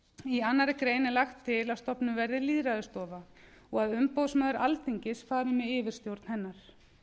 í annarri grein er lagt til að stofnuð verði lýðræðisstofa og að umboðsmaður alþingis fari með yfirstjórn hennar